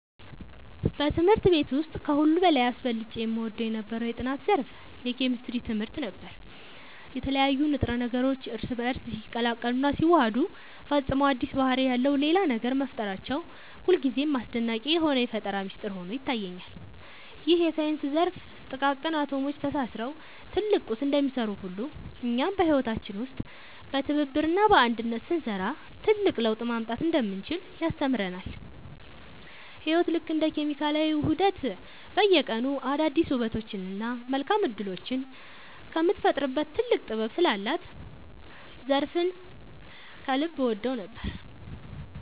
በትምህርት ቤት ውስጥ ከሁሉ በላይ አብልጬ እወደው የነበረው የጥናት ዘርፍ የኬሚስትሪ ትምህርት ነበር። የተለያዩ ንጥረ ነገሮች እርስ በእርስ ሲቀላቀሉና ሲዋሃዱ ፈጽሞ አዲስ ባህሪ ያለው ሌላ ነገር መፍጠራቸው ሁልጊዜም አስደናቂ የሆነ የፈጠራ ሚስጥር ሆኖ ይታየኛል። ይህ የሳይንስ ዘርፍ ጥቃቅን አቶሞች ተሳስረው ትልቅ ቁስ እንደሚሰሩ ሁሉ፣ እኛም በህይወታችን ውስጥ በትብብርና በአንድነት ስንሰራ ትልቅ ለውጥ ማምጣት እንደምንችል ያስተምረናል። ህይወት ልክ እንደ ኬሚካላዊ ውህደት በየቀኑ አዳዲስ ውበቶችንና መልካም እድሎችን የምትፈጥርበት ጥልቅ ጥበብ ስላላት ዘርፉን ከልብ እወደው ነበር።